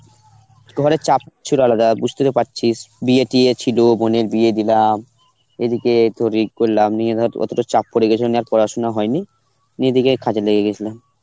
ঘরের চাপ ছিল আলাদা, বুঝতেই তো পারছিস, বিয়ে টিয়ে ছিল, বোনের বিয়ে দিলাম, এদিকে তোর ওই করলাম নিয়ে ধর অতটা চাপ পড়ে গেছিল নিয়ে আর পড়াশোনা হয়নি, নিয়ে এদিকে কাজে লেগে গেছিলাম.